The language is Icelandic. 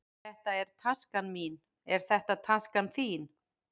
Þetta er taskan mín. Er þetta taskan þín?